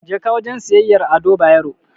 Jeka wajen siyayyar Ado Bayero.